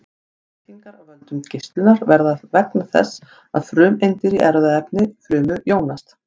stökkbreytingar af völdum geislunar verða vegna þess að frumeindir í erfðaefni frumu jónast